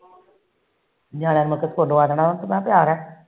ਨਿਆਣਿਆ ਮੈ